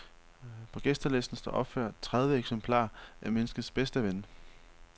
På gæstelisten står opført tredive eksemplarer af menneskets bedste ven.